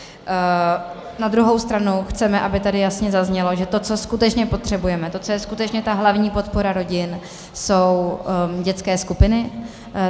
Na druhou stranu chceme, aby tady jasně zaznělo, že to, co skutečně potřebujeme, to, co je skutečně ta hlavní podpora rodin, jsou dětské skupiny.